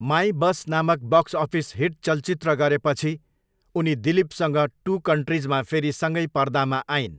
My boss नामक box office hit चलचित्र गरेपछि उनले दिलीपसँग टु कन्ट्रिजमा फेरि सँगै पर्दामा आइन्।